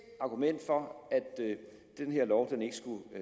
argument for at denne lovgivning